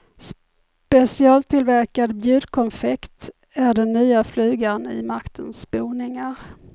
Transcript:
Specialtillverkad bjudkonfekt är den nya flugan i maktens boningar.